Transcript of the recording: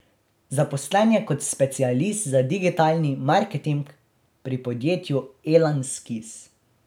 Zaposlen je kot specialist za digitalni marketing pri podjetju Elan Skis.